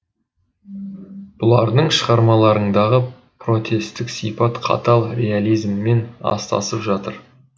бұлардың шығармаларындағы протестік сипат қатал реализммен астасып жатыр